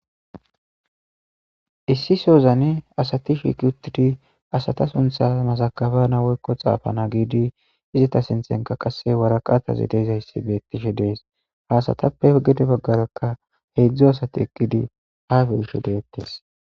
issi sozane asati shiki uttidi asata suntha masakabana woykko xaafana giidi izata sintenka qasse waraqataze deyzaysse beettishe dees haasatappe ogede baggarakka heedzdzo asati eqqidi haafe isho deettes